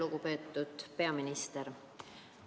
Lugupeetud peaminister!